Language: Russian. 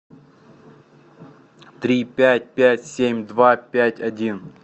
три пять пять семь два пять один